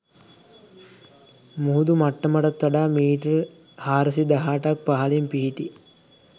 මුහුදු මට්ටමටත් වඩා මීටර් 418ක් පහළින් පිහිටි